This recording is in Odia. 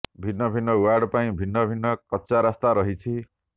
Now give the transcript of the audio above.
ଭିନ୍ନ ଭିନ୍ନ ୱାର୍ଡ ପାଇଁ ଭିନ୍ନ ଭିନ୍ନ କଚା ରାସ୍ତା ରହିଛି